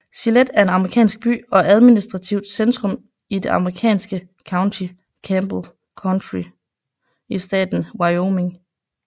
Gillette er en amerikansk by og administrativt centrum i det amerikanske county Campbell County i staten Wyoming